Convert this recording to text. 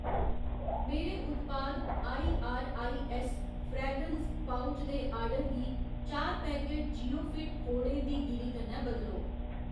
मेरे उत्पाद I R I S fragrance pouch दे आर्डर गी चार पैकट जिओफिट खोड़ें दी गिरी कन्नै बदलो।